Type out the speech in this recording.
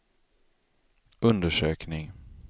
undersökning